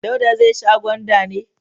Dauda zai sha gwanda ne?